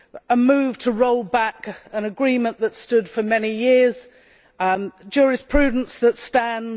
a move to roll back an agreement that stood for many years, and jurisprudence that stands